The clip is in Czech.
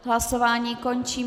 Hlasování končím.